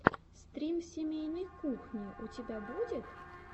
стрим семейной кухни у тебя будет